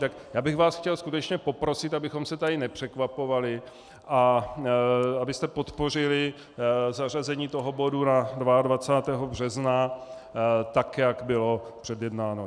Tak já bych vás chtěl skutečně poprosit, abychom se tady nepřekvapovali a abyste podpořili zařazení toho bodu na 22. března tak, jak bylo předjednáno.